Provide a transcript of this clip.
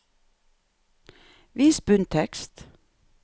Vis bunntekst